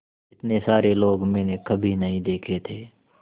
इतने सारे लोग मैंने कभी नहीं देखे थे